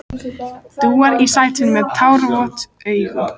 Dúar í sætinu með tárvot augu.